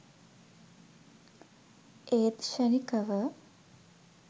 ඒත් ක්‍ෂණිකව